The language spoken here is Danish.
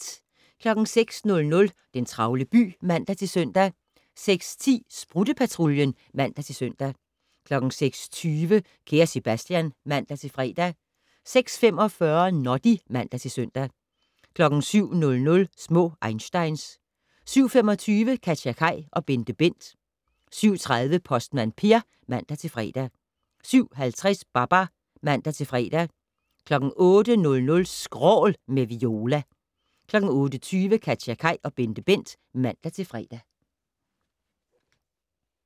06:00: Den travle by (man-søn) 06:10: Sprutte-Patruljen (man-søn) 06:20: Kære Sebastian (man-fre) 06:45: Noddy (man-søn) 07:00: Små einsteins 07:25: KatjaKaj og BenteBent 07:30: Postmand Per (man-fre) 07:50: Babar (man-fre) 08:00: Skrål - med Viola 08:20: KatjaKaj og BenteBent (man-fre)